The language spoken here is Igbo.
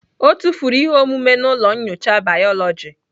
Ọ tụfuru ihe omume na ụlọ nyocha bayoloji